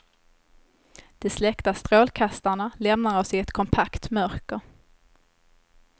De släckta strålkastarna lämnar oss i ett kompakt mörker.